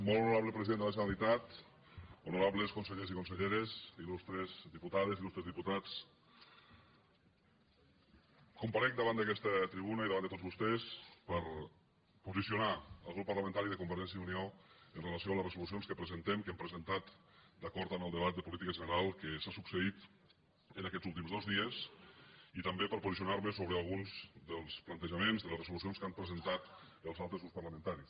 molt honorable president de la generalitat honorables consellers i conselleres il·lustres diputades il·lustres diputats comparec davant d’aquesta tribuna i davant de tots vostès per posicionar el grup parlamentari de convergència i unió amb relació a les resolucions que presentem que hem presentat d’acord amb el debat de política general que s’ha succeït en aquests últims dos dies i també per posicionar me sobre alguns dels plantejaments de les resolucions que han presentat els altres grups parlamentaris